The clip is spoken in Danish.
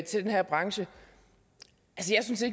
til den her branche